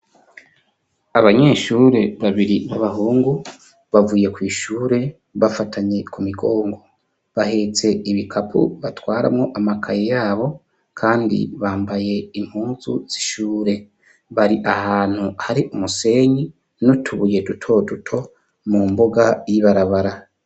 Abanyeshure babiri b'abahungu bavuye kw'ishure bafatanye ku migongo, bahetse ibikapo batwaramwo amakaye yabo, kandi bambaye impuzu zishure, bari ahantu hari umusenyi n'utubuye duto duto mu mbuga y'ibarabara.